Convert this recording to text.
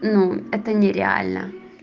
ну это нереально